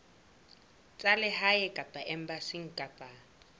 tsa lehae kapa embasing kapa